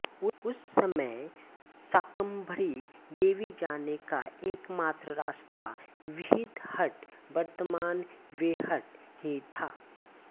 उस समय शाकम्भरी देवी जाने का एकमात्र रास्ता वृहदहट्ट वर्तमान बेहट ही था